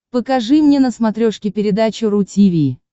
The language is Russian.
покажи мне на смотрешке передачу ру ти ви